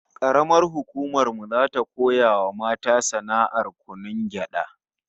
Karamar hukumar mu zata koya wa mata sana'ar kunun gyada